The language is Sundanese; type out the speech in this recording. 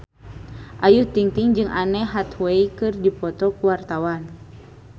Ayu Ting-ting jeung Anne Hathaway keur dipoto ku wartawan